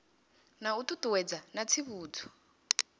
na u ṱuṱuwedza na tsivhudzo